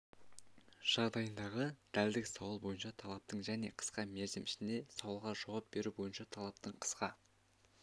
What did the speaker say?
жағдайындағы дәлдік сауал бойынша талаптың және қысқа мерзім ішінде сауалға жауап беру бойынша талаптың қысқа